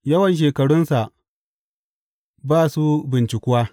Yawan shekarunsa ba su bincikuwa.